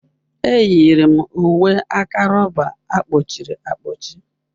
Enyiri m uwe aka rọba a kpọchiri akpọchi.